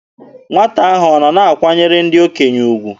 Nwata ahụ ọ na-akwanyere ndị okenye ugwu?